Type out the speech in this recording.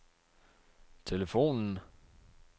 telefonen